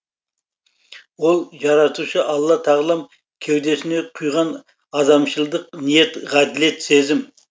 ол жаратушы алла тағалам кеудесіне құйған адамшылдық ниет ғаділет сезім